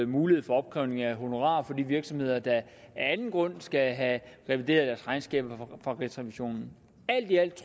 mulighed for opkrævning af honorarer fra de virksomheder der af anden grund skal have revideret deres regnskaber af rigsrevisionen alt i alt